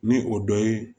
Ni o dɔ ye